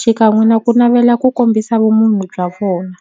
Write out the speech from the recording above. xikan'we na ku navela ku kombisa vumunhu bya vona.